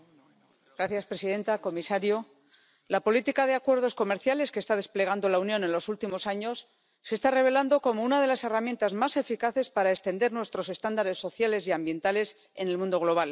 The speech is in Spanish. Señora presidenta, comisario, la política de acuerdos comerciales que está desplegando la Unión en los últimos años se está revelando como una de las herramientas más eficaces para extender nuestros estándares sociales y ambientales en el mundo global